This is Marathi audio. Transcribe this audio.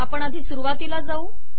आपण आधी सुरुवातीला जाऊ